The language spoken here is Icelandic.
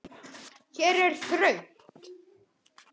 Hér er þröngt.